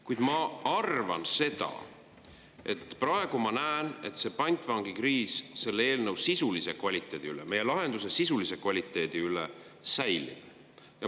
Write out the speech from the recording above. Kuid ma arvan seda, et selle eelnõu sisulisse kvaliteeti, selle lahenduse sisulisse kvaliteeti, siis see pantvangikriis säilib.